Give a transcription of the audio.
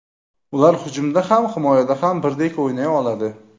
Ular hujumda ham, himoyada ham birdek o‘ynay oladi.